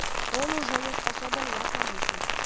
он уже не способен ясно мыслить